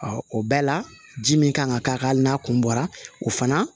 o bɛɛ la ji min kan ka k'a kan hali n'a kun bɔra o fana